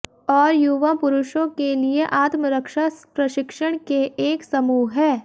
और युवा पुरुषों के लिए आत्मरक्षा प्रशिक्षण के एक समूह है